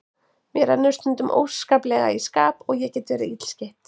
Mér rennur stundum óskaplega í skap og ég get verið illskeytt.